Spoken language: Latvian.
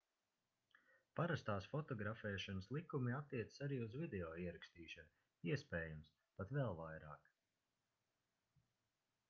parastās fotografēšanas likumi attiecas arī uz video ierakstīšanu iespējams pat vēl vairāk